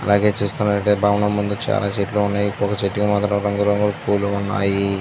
అల్లాగే చూస్తునట్టయితే భవనం ముందు చాలా చెట్లు ఉన్నాయి. పూల చెట్లు అందులో రంగు రంగుల పూలు ఉన్నాయి.